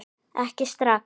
Ekki strax